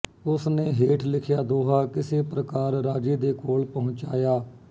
ਉਸ ਨੇ ਹੇਠ ਲਿਖਿਆ ਦੋਹਾ ਕਿਸੇ ਪ੍ਰਕਾਰ ਰਾਜੇ ਦੇ ਕੋਲ ਪਹੁੰਚਾਇਆ